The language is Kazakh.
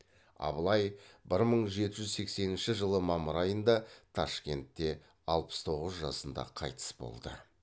абылай бір мың жеті жүз сексенінші жылы мамыр айында ташкентте алпыс тоғыз жасында қайтыс болды